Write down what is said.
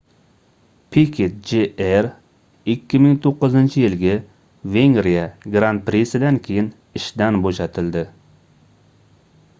piket jr 2009-yilgi vengriya gran-prisidan keyin ishdan boʻshatildi